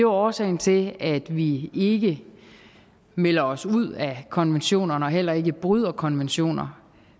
årsagen til at vi ikke melder os ud af konventioner og heller ikke bryder konventioner